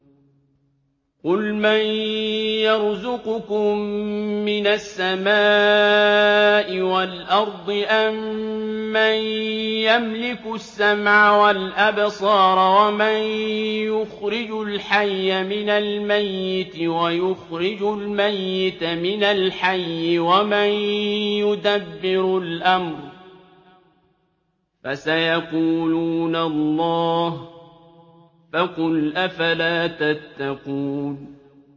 قُلْ مَن يَرْزُقُكُم مِّنَ السَّمَاءِ وَالْأَرْضِ أَمَّن يَمْلِكُ السَّمْعَ وَالْأَبْصَارَ وَمَن يُخْرِجُ الْحَيَّ مِنَ الْمَيِّتِ وَيُخْرِجُ الْمَيِّتَ مِنَ الْحَيِّ وَمَن يُدَبِّرُ الْأَمْرَ ۚ فَسَيَقُولُونَ اللَّهُ ۚ فَقُلْ أَفَلَا تَتَّقُونَ